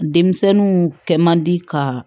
Denmisɛnninw kɛ man di ka